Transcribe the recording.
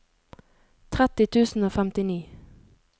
tretti tusen og femtini